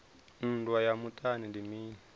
nndwa ya muṱani ndi mini